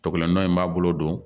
Tɔgɔlan in b'a bolo